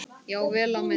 Já, vel á minnst.